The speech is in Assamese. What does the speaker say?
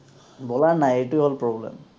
বলাৰ নাই এইটোৱেই হল problem